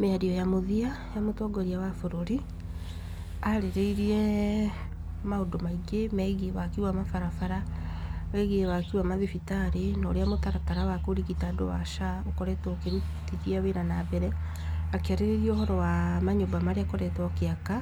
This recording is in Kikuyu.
Mĩario ya mũthia ya mũtongoria wa bũrũri, arĩrĩirie maũndũ maingĩ megiĩ waki wa barabara, wĩgiĩ waki wa mathibitarĩ, na ũrĩa mũtaratara wa kũrigita andũ wa SHA ũkoretwo ũkĩrutithia wĩra na mbere, akĩarĩrĩria ũhoro wa manyũmba marĩa akoretwo agĩaka,